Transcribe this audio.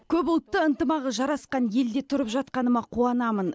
көпұлтты ынтымағы жарасқан елде тұрып жатқаныма қуанамын